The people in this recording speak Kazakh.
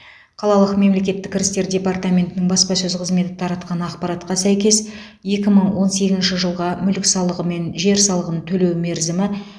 қалалық мемлекеттік кірістер департаментінің баспасөз қызметі таратқан ақпаратқа сәйкес екі мың он сегізінші жылға мүлік салығы мен жер салығын төлеу мерзімі